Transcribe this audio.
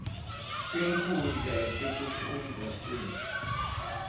tinkhundla tekufundza sib